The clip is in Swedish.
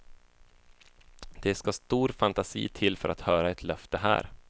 Det ska stor fantasi till för att höra ett löfte här.